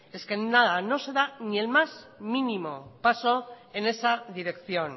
es que nada no se da ni el más mínimo paso en esa dirección